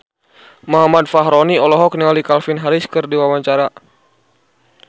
Muhammad Fachroni olohok ningali Calvin Harris keur diwawancara